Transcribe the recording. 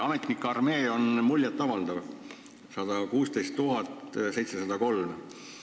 Ametnike armee on muljetavaldav: 116 703 inimest.